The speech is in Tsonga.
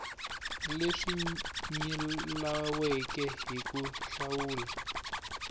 leswi nyilaweke hi ku hlawula